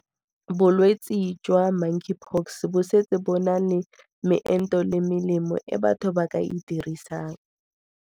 Bolwetse jwa Monkeypox bo setse bo na le meento le melemo e batho ba ka e dirisang.